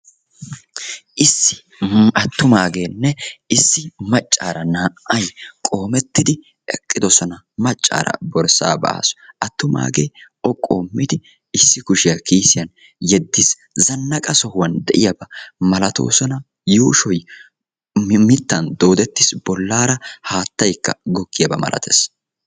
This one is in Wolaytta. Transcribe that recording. issi attumaagenne issi maccara qoometidi eqqidoosona; maccara borssa ba'aasu attumaagee o qoommidi issi kushiyaa kisiyaan yeddiis; zanaqqa sohuwaan de'iyaaba malatoosona; yuushshoy mittan doodettiis; bollara haataykka gogiyaaba malatees.